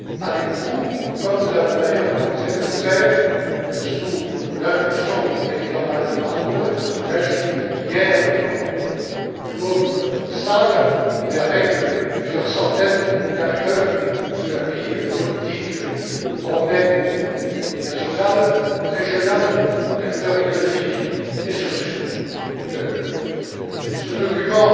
avec vous, comme nous avons d'ailleurs commencé de le faire sous l'impulsion du président Malcolm Harbour et de Louis Grech, hier, dans une autre salle, mais avec plusieurs centaines d'acteurs de la vie politique européenne et nationale, régionale d'acteurs économiques et sociaux. Ce document